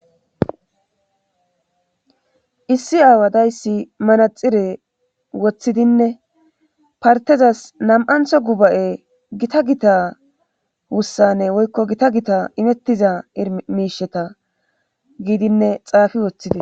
issi aawa dayssi manaxire woththidinne partezas nam7antho guba7e gita gita wussanne woykko gita gita imettiza imiisheta giidinne xaafi woththide